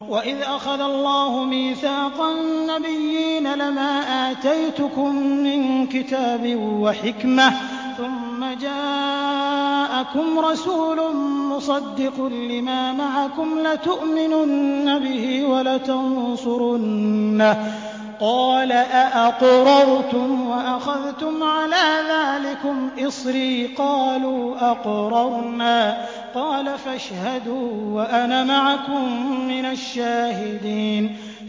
وَإِذْ أَخَذَ اللَّهُ مِيثَاقَ النَّبِيِّينَ لَمَا آتَيْتُكُم مِّن كِتَابٍ وَحِكْمَةٍ ثُمَّ جَاءَكُمْ رَسُولٌ مُّصَدِّقٌ لِّمَا مَعَكُمْ لَتُؤْمِنُنَّ بِهِ وَلَتَنصُرُنَّهُ ۚ قَالَ أَأَقْرَرْتُمْ وَأَخَذْتُمْ عَلَىٰ ذَٰلِكُمْ إِصْرِي ۖ قَالُوا أَقْرَرْنَا ۚ قَالَ فَاشْهَدُوا وَأَنَا مَعَكُم مِّنَ الشَّاهِدِينَ